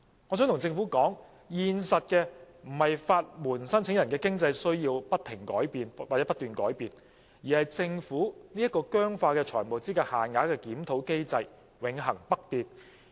我想向政府說，現在不是法援申請人的經濟需要不斷改變，而是政府這個僵化的財務資格限額的檢討機制永恆不變。